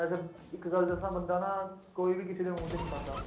ਮੈਂ ਸਿਰਫ਼ ਇੱਕ ਗੱਲ ਦੱਸਾਂ ਬੰਦਾ ਨਾ ਕੋਈ ਵੀ ਕਿਸੇ ਦੇ ਮੂੰਹ ਚ ਨੀ ਪਾਉਂਦਾ